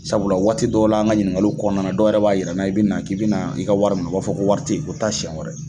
Sabula waati dɔw la an ka ɲiningaliw kɔnɔna dɔw yɛrɛ b'a yira n na i bi na k'i bi na i ka wari minɛ o b'a fɔ ko wari tɛ yen, taa siyɛn wɛrɛ.